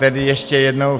Tedy ještě jednou.